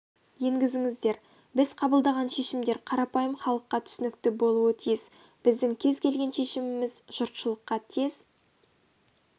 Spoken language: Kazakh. енгізіңіздер біз қабылдаған шешімдер қарапайым іалыққа түсінікті болуы тиіс біздің кез келген шешіміміз жұртшылыққа тез